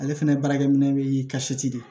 Ale fɛnɛ baarakɛminɛ bɛ de